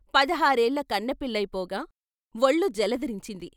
పదహారేళ్ళ కన్నెపిల్లయిపోగా ఒళ్ళు జలదరించింది.